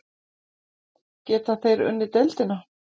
Geta þeir unnið deildina?